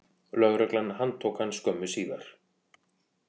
Lögreglan handtók hann skömmu síðar